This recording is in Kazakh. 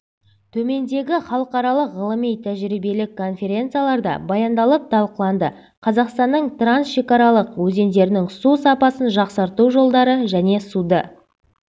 төмендегі халықаралық ғылыми-тәжірибелік конференцияларда баяндалып талқыланды қазақстанның трансшекаралық өзендерінің су сапасын жақсарту жолдары және суды